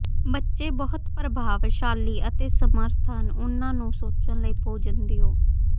ਬੱਚੇ ਬਹੁਤ ਪ੍ਰਭਾਵਸ਼ਾਲੀ ਅਤੇ ਸਮਰੱਥ ਹਨ ਉਨ੍ਹਾਂ ਨੂੰ ਸੋਚਣ ਲਈ ਭੋਜਨ ਦਿਓ